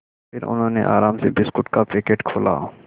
फिर उन्होंने आराम से बिस्कुट का पैकेट खोला